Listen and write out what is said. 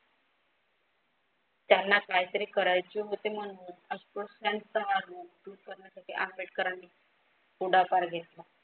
त्यांना काहीतरी करायचे होते म्हणून अस्पृश्यांचा दूर करण्यासाठी आंबेडकरांनी पुढाकार घेतला.